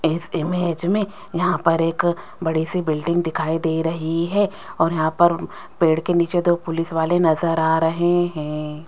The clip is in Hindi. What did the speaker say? इस इमेज में यहां पर एक बड़ी सी बिल्डिंग दिखाई दे रही है और यहां पर पेड़ के नीचे दो पुलिस वाले नजर आ रहे हैं।